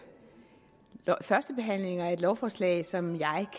førstebehandlinger af et lovforslag som jeg